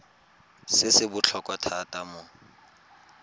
se se botlhokwa thata mo